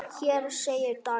Hér segir Daniel